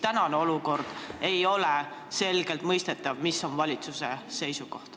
Tänases olukorras ei ole selgelt mõistetav, mis on valitsuse seisukoht.